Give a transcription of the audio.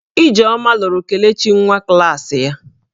Ijeoma lụrụ Kelechi nwa klaasị ya